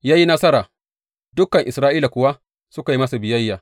Ya yi nasara, dukan Isra’ila kuwa suka yi masa biyayya.